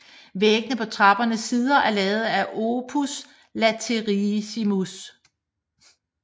Væggene på trappernes sider er lavet af opus latericium